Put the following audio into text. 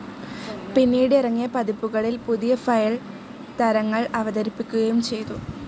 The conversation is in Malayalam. പിന്നീട് ഇറങ്ങിയ പതിപ്പുകളിൽ പുതിയ ഫയൽ തരങ്ങൾഅവതരിപ്പിക്കുകയും ചെയ്തു.